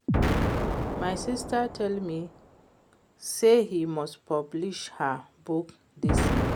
My sister tell me say he must publish her book dis year